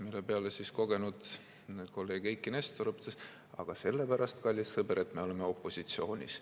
" Mille peale siis kogenud kolleeg Eiki Nestor õpetas: "Aga sellepärast, kallis sõber, et me oleme opositsioonis.